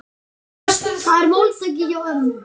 Þetta var máltæki hjá ömmu.